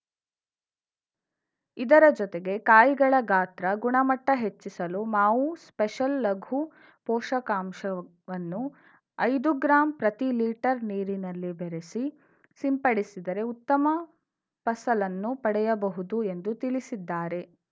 ಇದರ ಜೊತೆಗೆ ಕಾಯಿಗಳ ಗಾತ್ರ ಗುಣಮಟ್ಟಹೆಚ್ಚಿಸಲು ಮಾವು ಸ್ಪೆಷಲ್‌ ಲಘು ಪೋಷಕಾಂಶವನ್ನು ಐದು ಗ್ರಾಂ ಪ್ರತಿ ಲೀಟರ್‌ ನೀರಿನಲ್ಲಿ ಬೆರಸಿ ಸಿಂಪಡಿಸಿದರೆ ಉತ್ತಮ ಫಸಲನ್ನು ಪಡೆಯಬಹುದು ಎಂದು ತಿಳಿಸಿದ್ದಾರೆ